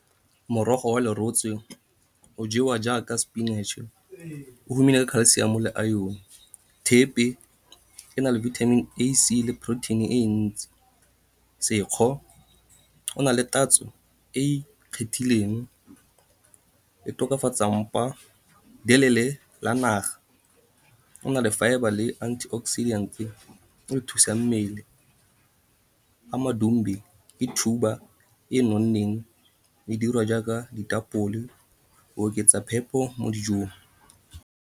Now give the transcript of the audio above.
Morogo wa lerotse o jewa jaaka sepinatše, o humile ka calcium le iron. Thepe e na le vitamin A, C le protein-e e ntsi. Sekgo o na le tatso e e ikgethileng, e tokafatsa mpa. La naga o na le fibre le antioxidant e e thusang mmele. Amadumbe ke thuba e nonneng, le dirwa jaaka ditapole, o oketsa phepo mo dijong.